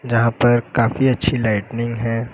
यहां पर काफी अच्छी लाइटनिंग है।